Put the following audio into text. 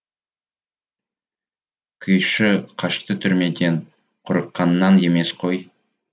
күйші қашты түрмеден қорыққаннан емес қой